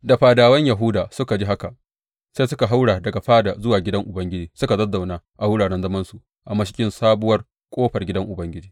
Da fadawan Yahuda suka ji haka, sai suka haura daga fada zuwa gidan Ubangiji suka zazzauna a wuraren zamansu a mashigin Sabuwar Ƙofar gidan Ubangiji.